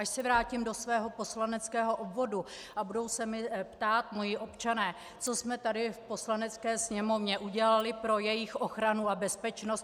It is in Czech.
Až se vrátím do svého poslaneckého obvodu a budou se mě ptát moji občané, co jsme tady v Poslanecké sněmovně udělali pro jejich ochranu a bezpečnost...